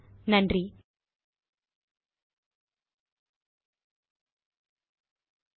குரல் கொடுத்து பதிவு செய்தது